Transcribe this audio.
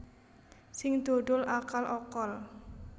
Sing dodol akal okol